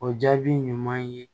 O jaabi ɲuman ye